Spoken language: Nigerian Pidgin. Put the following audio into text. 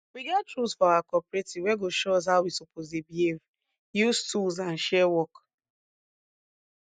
we get rules for our cooperative wey go show us how we suppose dey behave use tools and share work